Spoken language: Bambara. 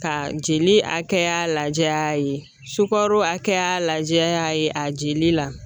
Ka jeli hakɛya lajɛ a ye, sukaro hakɛya lajɛ a ye ,a jeli la .